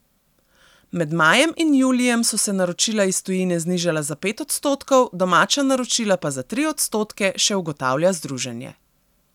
Med majem in julijem so se naročila iz tujine znižala za pet odstotkov, domača naročila pa za tri odstotke, še ugotavlja združenje.